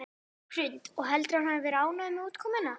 Hrund: Og heldurðu að hann hefði verið ánægður með útkomuna?